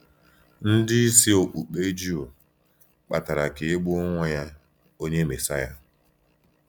Ndị isi okpukpe Juu kpatara ka e gbuo Nwa ya, Onye Mèsaya.